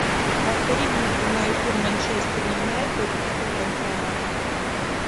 повтори мне прямой эфир манчестер юнайтед и тоттенхэма